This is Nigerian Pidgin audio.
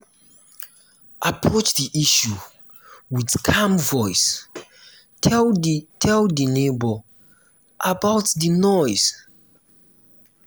approach di issue with calm voice tell di tell di neighbour about di noise